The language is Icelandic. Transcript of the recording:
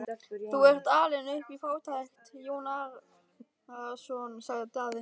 Þú ert alinn upp í fátækt, Jón Arason, sagði Daði.